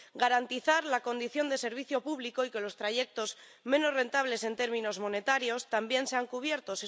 garantizar la condición de servicio público y que los trayectos menos rentables en términos monetarios también sean cubiertos.